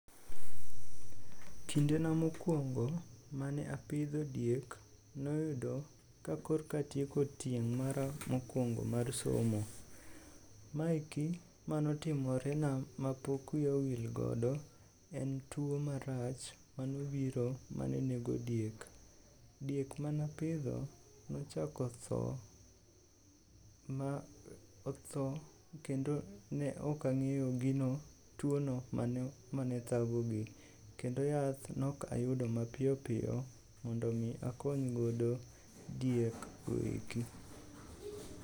Kindena mokwongo mane apidho diek noyudo ka korka atieko tieng' mara mokwongo mar somo. Maeki manotimorena mapok wiya owilgodo en tuo marach manobiro mane nego diek. Diek manapidho nochako tho kendo ne ok ang'eyo tuono mano mane thagogi kendo yath nok ayudo mapiyopiyo mondo omi akonygodo diekgo eki.